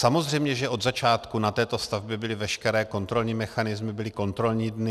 Samozřejmě, že od začátku na této stavbě byly veškeré kontrolní mechanismy, byly kontrolní dny.